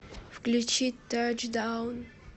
включи тачдаун